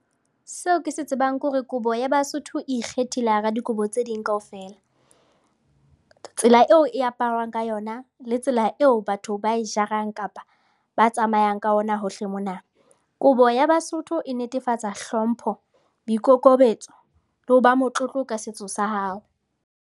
Seo ke se tsebang ke hore kobo ya Basotho e ikgethile hara dikobo tse ding kaofela. Tsela eo e aparwang ka yona le tsela eo batho ba e jarang kapa ba tsamayang ka ona hohle mona. Kobo ya Basotho e netefatsa hlompho, boikokobetso le ho ba motlotlo ka setso sa hao.